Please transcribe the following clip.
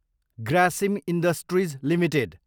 Grasim industries Ltd